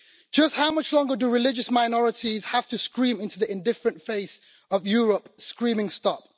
Just how much longer do religious minorities have to scream into the indifferent face of Europe, screaming stop